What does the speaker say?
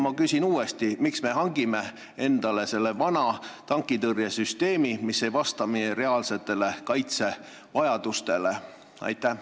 Ma küsin uuesti: miks me hangime endale selle vana tankitõrjesüsteemi, mis ei vasta meie reaalsetele kaitsevajadustele?